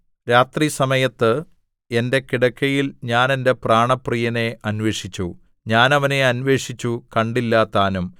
രാത്രിസമയത്ത് എന്റെ കിടക്കയിൽ ഞാൻ എന്റെ പ്രാണപ്രിയനെ അന്വേഷിച്ചു ഞാൻ അവനെ അന്വേഷിച്ചു കണ്ടില്ലതാനും